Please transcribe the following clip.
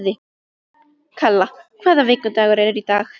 Kalla, hvaða vikudagur er í dag?